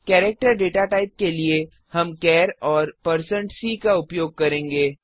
character data type के लिए हम चार और160c उपयोग करेंगे